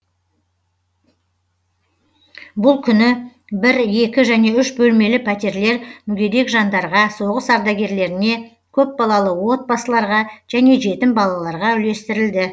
бұл күні бір екі және үш бөлмелі пәтерлер мүгедек жандарға соғыс ардагерлеріне көпбалалы отбасыларға және жетім балаларға үлестірілді